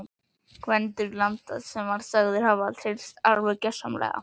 Gvendur landa var sagður hafa tryllst alveg gjörsamlega.